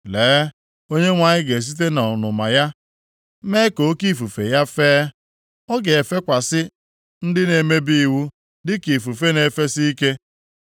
Lee, Onyenwe anyị ga-esite nʼọnụma ya mee ka oke ifufe ya fee. Ọ ga-efekwasị ndị na-emebi iwu dịka ifufe na-efesi ike.